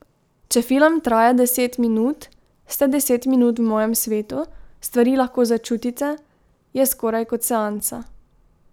Če film traja deset minut, ste deset minut v mojem svetu, stvari lahko začutite, je skoraj kot seansa.